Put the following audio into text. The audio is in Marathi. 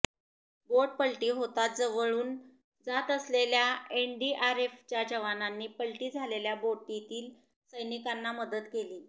बोट पलटी होताच जवळून जात असलेल्या एनडीआरएफच्या जवानांनी पलटी झालेल्या बोटीतील सैनिकांना मदत केली